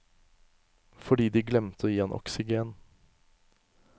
Fordi de glemte å gi han oksygen.